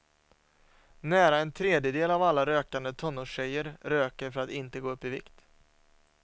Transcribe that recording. Nära en tredjedel av alla rökande tonårstjejer röker för att inte gå upp i vikt.